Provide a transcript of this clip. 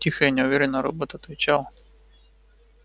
тихо и неуверенно робот отвечал